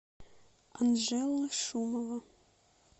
анжела шумова